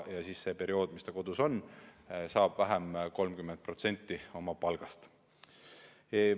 Ja sel perioodil, kui ta kodus on, saab ta oma palgast kätte 30% vähem.